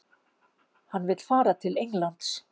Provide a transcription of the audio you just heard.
Hann vill fara til Englands?